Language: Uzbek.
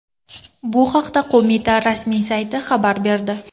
Bu haqda qo‘mita rasmiy sayti xabar berdi .